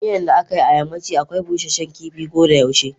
Miyan da akai a yammaci akwai Busashen kifi kodayaushe.